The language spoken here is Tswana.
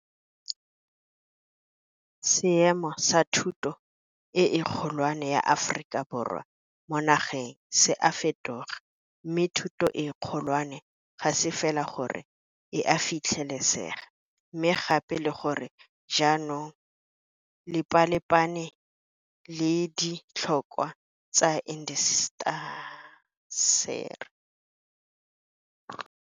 Seemo sa thuto e kgolwane ya Aforika Borwa mo nageng se a fetoga, mme thuto e kgolwane ga se fela gore e a fitlhelesega, mme gape le gore jaanong e lepalepane le di tlhokwa tsa intaseteri.